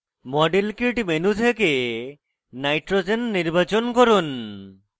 model kit menu থেকে nitrogen n নির্বাচন করুন